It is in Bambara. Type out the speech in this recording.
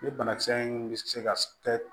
Ni banakisɛ in bɛ se ka kɛ